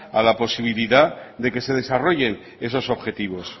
a la posibilidad de que se desarrollen esos objetivos